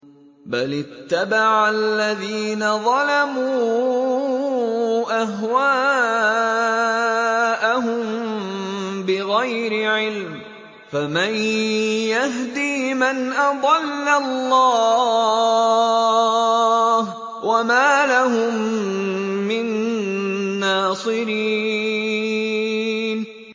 بَلِ اتَّبَعَ الَّذِينَ ظَلَمُوا أَهْوَاءَهُم بِغَيْرِ عِلْمٍ ۖ فَمَن يَهْدِي مَنْ أَضَلَّ اللَّهُ ۖ وَمَا لَهُم مِّن نَّاصِرِينَ